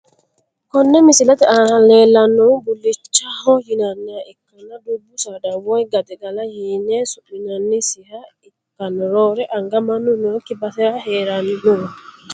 Konne misilete aana leelanoha bulichaho yinaniha ikanna dubbu saada woyi gaxigalaho yine su`minanisiha ikanna roore anga mannu nooki basera heerano.